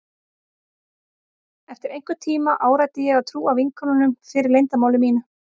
Eftir einhvern tíma áræddi ég að trúa vinkonunum fyrir leyndarmáli mínu.